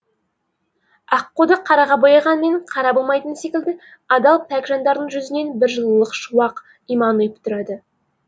аққуды қараға бояғанмен қара болмайтыны секілді адал пәк жандардың жүзінен бір жылылық шуақ иман ұйып тұрады